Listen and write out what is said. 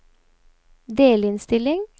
delinnstilling